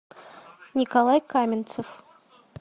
николай каменцев